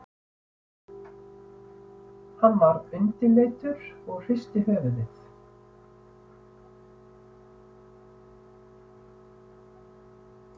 Hann varð undirleitur og hristi höfuðið.